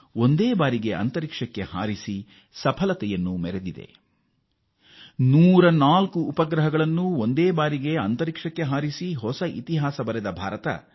ಒಂದೇ ಉಡಾವಣೆಯಲ್ಲಿ 104 ಉಪಗ್ರಹಗಳನ್ನು ಕಕ್ಷೆಗೆ ಯಶಸ್ವಿಯಾಗಿ ಸೇರಿಸಿದ ಪ್ರಥಮ ರಾಷ್ಟ್ರ ಭಾರತವಾಗಿದೆ